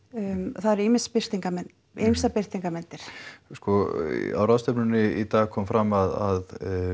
það eru ýmsar birtingarmyndir ýmsar birtingarmyndir sko á ráðstefnunni í dag kom fram að